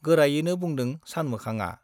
गोरायैनो बुंदों सानमोखांआ।